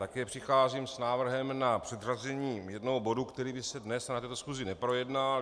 Také přicházím s návrhem na předřazení jednoho bodu, který by se dnes na této schůzi neprojednal.